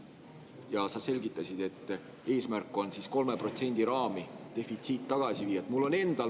Ja sa selgitasid, et eesmärk on siis 3% raami defitsiit tagasi viia.